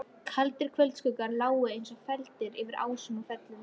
Kaldir kvöldskuggar lágu eins og feldir yfir ásum og fellum.